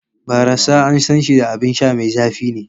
Barassa an san shi da abin sha mai zafi ne.